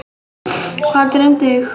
Hvað dreymdi þig?